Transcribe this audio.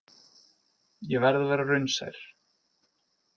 Ég verð að vera raunsær.